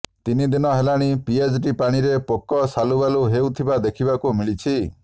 ତିନି ଦିନ ହେଲାଣି ପିଏଚଡି ପାଣିରେ ପୋକ ସାଲୁବାଲୁ ହେଉଥିବା ଦେଖିବାକୁ ମିଳିଛି